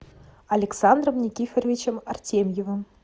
александром никифоровичем артемьевым